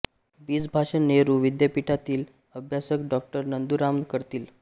बीजभाषण नेहरू विद्यापीठातील अभ्यासक डॉ नंदू राम करतील